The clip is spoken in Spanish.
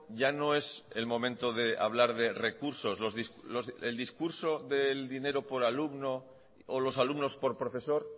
ya no es el momento de hablar de recursos el discurso del dinero por alumno o los alumnos por profesor